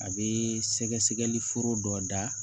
A bɛ sɛgɛsɛgɛliforo dɔ da